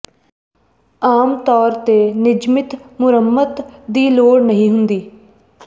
ਆਮ ਤੌਰ ਤੇ ਨਿਯਮਤ ਮੁਰੰਮਤ ਦੀ ਲੋੜ ਨਹੀਂ ਹੁੰਦੀ ਹੈ